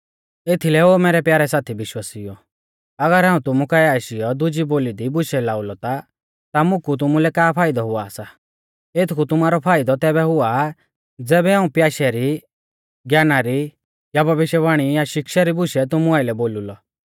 एथीलै ओ मैरै प्यारै साथी विश्वासिउओ अगर हाऊं तुमु काऐ आशीयौ दुजी बोली दी बुशै लाऊ ता मुकु तुमुलै का फाइदौ हुआ सा एथकु तुमारौ फाइदौ तैबै हुआ ज़ैबै हाऊं प्याशै री ज्ञाना री या भविष्यवाणी या शिक्षा री बुशै तुमु आइलै बोलु लौ